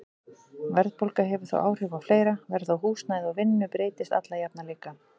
Verðbólga hefur þó áhrif á fleira, verð á húsnæði og vinnu breytist alla jafna líka.